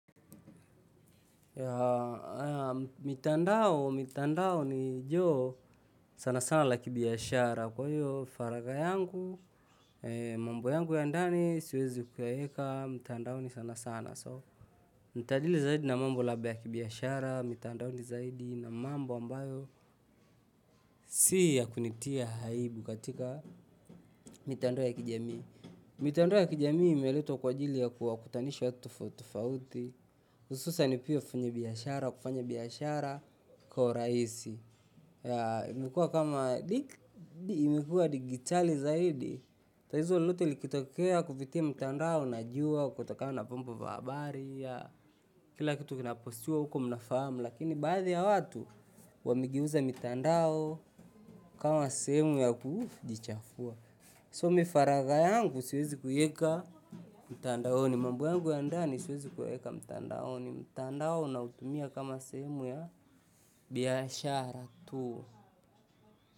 Mitandao, mitandao ni joo sana sana la kibiashara kwa hiyo faragha yangu, mambo yangu ya ndani, siwezi kuyaeka, mtandaoni sana sana. So, nitadili zaidi na mambo la kibiashara, mitandaoni zaidi na mambo ambayo si ya kunitia aibu katika mitandao ya kijamii. Mitandao ya kijamii imeletwa kwa ajili ya kuwakutanisha watu tofauti tofauti hususan pia wafanyabiashara, kufanya biashara kwa urahisi ya imekuwa kama, imekuwa digitali zaidi tatizo lolote likitokea kupitia mtandao, najua, kutokana na vyombo vya habari kila kitu kinapostiwa huko mnafahamu lakini baadhi ya watu wamegeuza mitandao kama sehemu ya kujichafua. So mi faragha yangu siwezi kuieka mtandaoni, mambo yangu ya ndani siwezi kuyaeka mtandaoni, mtandao nautumia kama sehemu ya biashara tu.